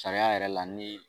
Sariya yɛrɛ la ni